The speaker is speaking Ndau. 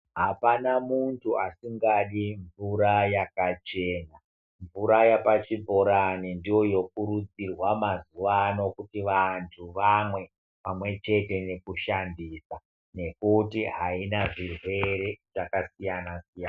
Apana muntu asingadi mvura yakachena , mvura yepachibhorani ndiyo inokurudzirwa mazuva ano kuti vantu vamwe pamwechete nekushandisa nekuti haina zvirwere zvakasiyana siyana.